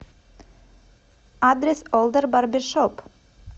адрес олдэр барбершоп